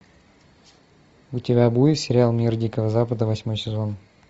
у тебя будет сериал мир дикого запада восьмой сезон